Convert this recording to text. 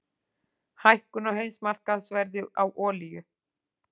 Hækkun á heimsmarkaðsverði á olíu